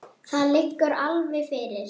Það liggur alveg fyrir.